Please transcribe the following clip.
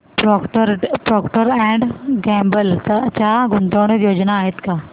Procter and Gamble च्या गुंतवणूक योजना आहेत का